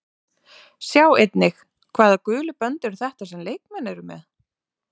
Sjá einnig: Hvaða gulu bönd eru þetta sem leikmenn eru með?